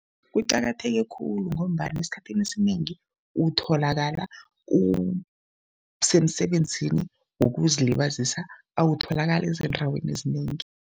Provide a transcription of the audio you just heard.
Kuqakatheke khulu ngombana esikhathini esinengi utholakala usemsebenzini wokuzilibazisa, awutholakali ezindaweni ezinengi.